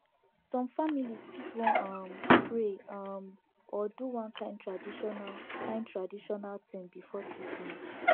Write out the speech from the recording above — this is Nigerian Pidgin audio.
some families fit wan um pray um or do one kind traditional kind traditional thing before treatment